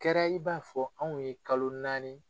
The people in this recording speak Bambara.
kɛra i b'a fɔ anw ye kalo naani